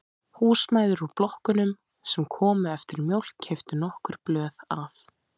Húsmæður úr blokkunum sem komu eftir mjólk keyptu nokkur blöð af